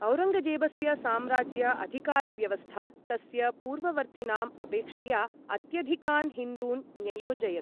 औरङ्गजेबस्य साम्राज्य अधिकारव्यवस्था तस्य पूर्ववर्तीनाम् अपेक्षया अत्यधिकान् हिन्दून् न्ययोजयत्।